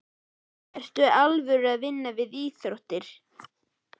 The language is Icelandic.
Ertu í alvöru að vinna við íþróttir?